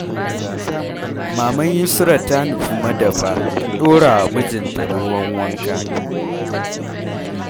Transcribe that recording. Maman Yusrah ta nufi madafa ta ɗora wa mijinta ruwan wanka.